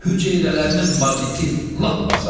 Hüceyrələrinin maqni lap azaldı.